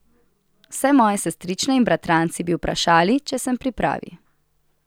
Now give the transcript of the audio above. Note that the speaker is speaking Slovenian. Vse moje sestrične in bratranci bi vprašali, če sem pri pravi.